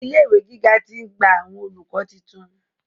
Ilé ìwé gíga ti ń gba àwọn olùkọ́ titun.